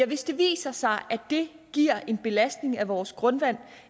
hvis det viser sig at det giver en belastning af vores grundvand